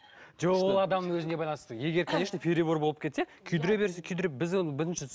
жоқ ол адамның өзіне байланысты егер конечно перебор болып кетсе күйдіре берсе күйдір біз оны бірінші